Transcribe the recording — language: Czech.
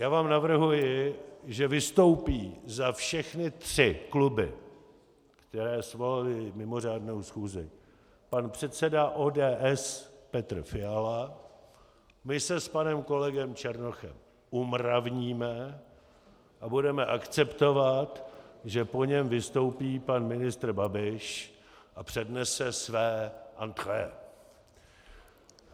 Já vám navrhuji, že vystoupí za všechny tři kluby, které svolaly mimořádnou schůzi, pan předseda ODS Petr Fiala, my se s panem kolegou Černochem umravníme a budeme akceptovat, že po něm vystoupí pan ministr Babiš a přednese své entrée.